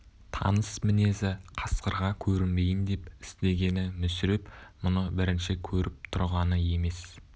таныс мінезі қасқырға көрінбейін деп істегені мүсіреп мұны бірінші көріп тұрғаны емес